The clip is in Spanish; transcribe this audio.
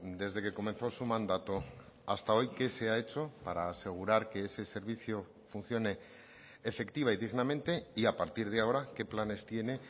desde que comenzó su mandato hasta hoy qué se ha hecho para asegurar que ese servicio funcione efectiva y dignamente y a partir de ahora qué planes tiene